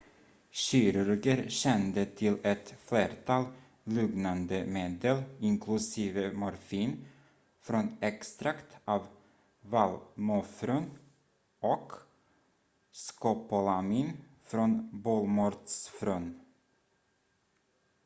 kirurger kände till ett flertal lugnande medel inklusive morfin från extrakt av vallmofrön och skopolamin från bolmörtsfrön